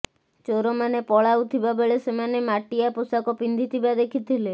ଚୋରମାନେ ପଳାଉଥିବା ବେଳେ ସେମାନେ ମାଟିଆ ପୋଷାକ ପିନ୍ଧିଥିବା ଦେଖିଥିଲେ